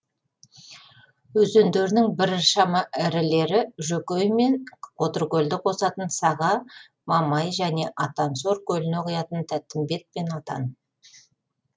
өзендерінің біршама ірілері жөкей мен қотыркөлді қосатын саға мамай және атансор көліне құятын тәттімбет пен атан